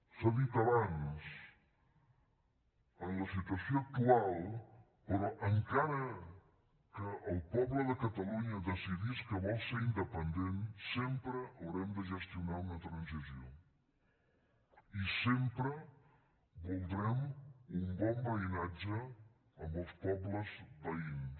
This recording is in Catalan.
s’ha dit abans en la situació actual però encara que el poble de catalunya decidís que vol ser independent sempre haurem de gestionar una transició i sempre voldrem un bon veïnatge amb els pobles veïns